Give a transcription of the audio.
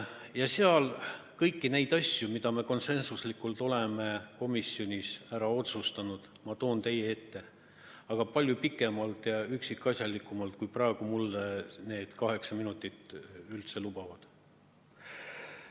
Ja seal ma toon kõik need asjad, mida me konsensuslikult oleme komisjonis ära otsustanud, teie ette, aga siis juba palju pikemalt ja üksikasjalikumalt, kui praegu mulle antud kaheksa minutit lubavad.